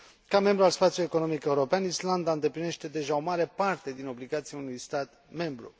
Ca membru al spațiului economic european, Islanda îndeplinește deja o mare parte din obligațiile unui stat membru.